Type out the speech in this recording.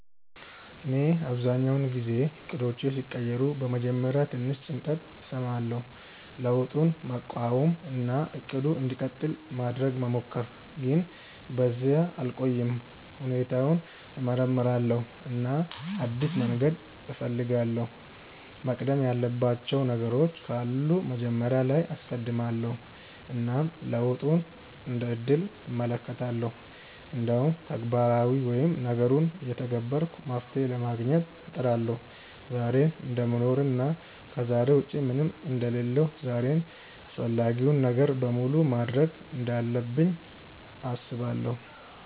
እኔ አብዛኛውን ጊዜ እቅዶቼ ሲቀየሩ በመጀመሪያ ትንሽ ጭንቀት እሰማለሁ፣ ለውጡን መቃወም እና “እቅዱ እንዲቀጥል” ማድረግ መሞከር፣ ግን በዚያ አልቆይም። ሁኔታውን እመርምራለሁ እና አዲስ መንገድ እፈልጋለሁ፤ መቅደም ያለባቸው ነገሮች ካሉ መጀመሪያ ላይ አስቀድማለው እና ለውጡን እንደ እድል እመለከታለሁ። እንዲሁም ተግባራዊ ወይም ነገሩን እየተገበርኩ መፍትሄ ለማግኘት እጥራለሁ። ዛሬን እደምኖር እና ከዛሬ ውጪ ምንም አንደ ሌለሁ ዛሬን አፈላጊውን ነገር በሙሉ ማድርግ እንዳለብኝ አስባለው።